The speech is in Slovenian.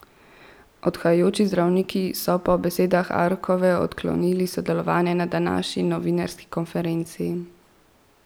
Odhajajoči zdravniki so po besedah Arkove odklonili sodelovanje na današnji novinarski konferenci.